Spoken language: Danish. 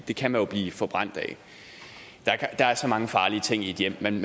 det kan man jo blive forbrændt af der er så mange farlige ting i et hjem man